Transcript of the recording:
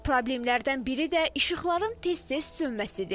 Problemlərdən biri də işıqların tez-tez sönməsidir.